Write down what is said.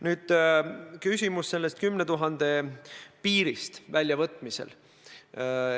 Nüüd, küsimus oli 10 000 euro piiri kohta raha väljavõtmisel.